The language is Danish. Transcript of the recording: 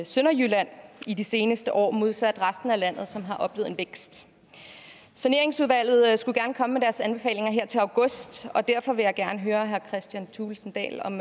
sønderjylland i de seneste år modsat resten af landet som har oplevet en vækst saneringsudvalget skulle gerne komme med deres anbefalinger her til august og derfor vil jeg gerne høre herre kristian thulesen dahl om